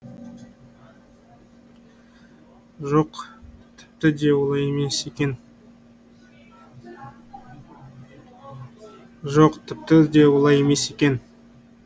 жоқ тіпті де олай емес екен жоқ тіпті де олай емес екен